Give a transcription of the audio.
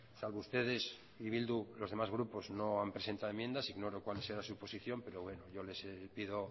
salvo ustedes y bildu los demás grupos no han presentado enmiendas ignoro cuál será su posición pero bueno yo les pido